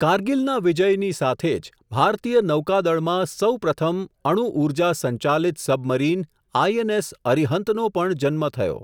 કારગીલના વિજયની સાથે જ, ભારતીય નૌકાદળમાં સૌ પ્રથમ, અણુઊર્જા સંચાલિત સબમરીન આઇ એન એસ અરિહંતનો પણ જન્મ થયો.